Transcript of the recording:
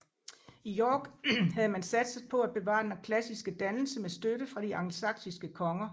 I York havde man satset på at bevare den klassiske dannelse med støtte fra de angelsaksiske konger